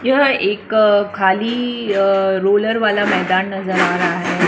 यह एकअ खालीअ रोलर वाला मैदान नजर आ रहा है।